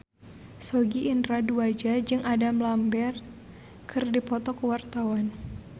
Sogi Indra Duaja jeung Adam Lambert keur dipoto ku wartawan